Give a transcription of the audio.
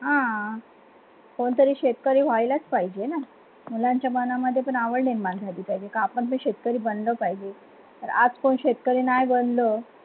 हा कोणतरी शेतकरी व्हायलाच पाहिजे ना मुलांच्या मनामध्ये आवड निर्माण झाली पाहिजे का आपण शेतकरी बनलो पाहिजे आज कोणी शेतकरी नाही बनल